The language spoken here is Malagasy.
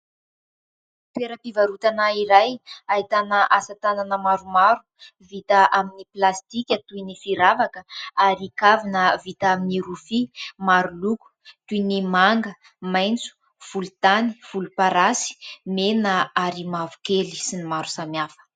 Toeram-pivarotana iray, ahitana asatanana maromaro vita amin'ny plastika toy ny firavaka ary kavina vita amin'ny rofia maro loko toy ny manga, maitso, volontany, volomparasy, mena ary mavokely sy ny maro samihafa.